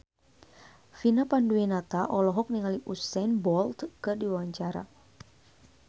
Vina Panduwinata olohok ningali Usain Bolt keur diwawancara